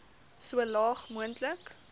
so laag moontlik